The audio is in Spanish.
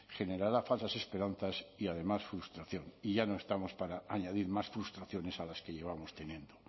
generará falsas esperanzas y además frustración y ya no estamos para añadir más frustraciones a las que llevamos teniendo